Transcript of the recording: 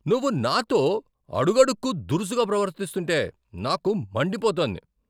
నువ్వు నాతో అడుగడుక్కు దురుసుగా ప్రవర్తిస్తుంటే నాకు మండిపోతోంది.